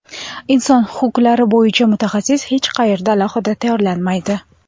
Inson huquqlari bo‘yicha mutaxassis hech qayerda alohida tayyorlanmaydi.